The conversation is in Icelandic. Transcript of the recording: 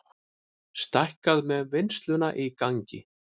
Stækkað með vinnsluna í gangi